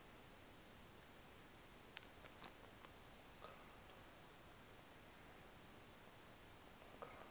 makhanda